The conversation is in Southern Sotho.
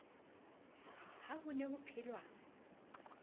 ha ho ne ho phelwa